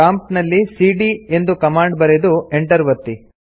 prompt ನಲ್ಲಿ ಸಿಡಿಯ ಎಂದು ಕಮಾಂಡ್ ಬರೆದು Enter ಒತ್ತಿ